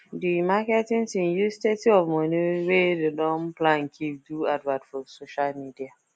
di marketing team use thirty of money wey dem don plan keep do advert for social media